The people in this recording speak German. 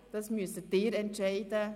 Aber darüber müssen Sie entscheiden.